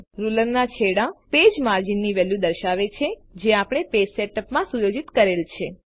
રૂલરના છેડા પેજ માર્જિનની વેલ્યુ દર્શાવે છે જે આપણે પેજ સેટઅપ માં સુયોજિત કરેલ છે